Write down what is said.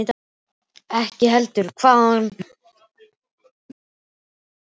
Ekki heldur hvaðan ég var að koma.